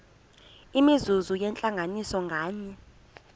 imizuzu yentlanganiso nganye